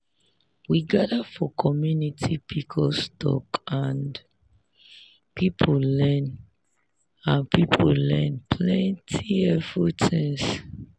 we gather for community pcos talk and people learn and people learn plenty helpful things.